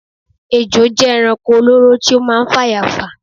ejò jẹ ẹranko olóró tí ó máa ń fàyà fà